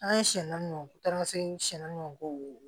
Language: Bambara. An ye siyɛn naani bɔ taama segi siyɛn ninnu kɔ